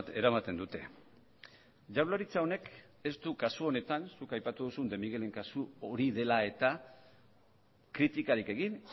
eramaten dute jaurlaritza honek ez du kasu honetan zuk aipatu duzun de miguelen kasu hori dela eta kritikarik egin